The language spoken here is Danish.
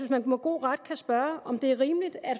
at man med god ret kan spørge om det er rimeligt at